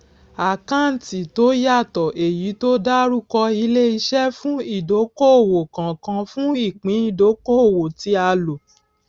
àkáǹtì tó yàtọ èyí tó dárúkọ ileiṣẹ fún ìdókòòwò kọọkan fún ìpín ìdókoòwò tí a lò